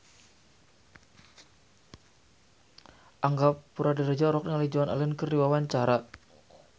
Angga Puradiredja olohok ningali Joan Allen keur diwawancara